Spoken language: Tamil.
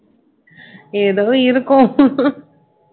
ஏதோ இருக்கோம்